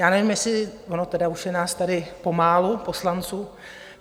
Já nevím, jestli - ono tedy už je nás tady pomálu, poslanců.